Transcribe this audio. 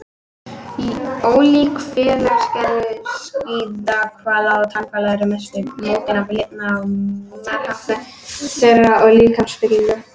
Ólík félagskerfi skíðishvala og tannhvala eru að mestu mótuð af lifnaðarháttum þeirra og líkamsbyggingu.